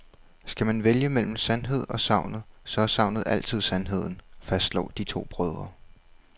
Skal man vælge mellem sandheden og sagnet, så er sagnet altid sandheden, fastslår de to brødre.